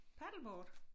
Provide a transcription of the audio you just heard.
Paddleboard?